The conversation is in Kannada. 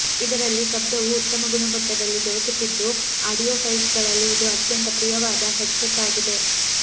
ಇದರಲ್ಲಿ ಶಬ್ದವು ಉತ್ತಮ ಗುಣಮಟ್ಟದಲ್ಲಿ ದೊರಕುತ್ತಿದ್ದು ಆಡಿಯೊ ಫೈಲ್ಸ್ ಗಳಲ್ಲಿ ಇದು ಅತ್ಯಂತ ಪ್ರಿಯವಾದ ಹೆಡ್ ಸೆಟ್ ಆಗಿದೆ